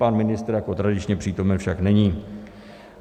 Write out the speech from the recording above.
Pan ministr jako tradičně přítomen však není.